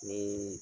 Ni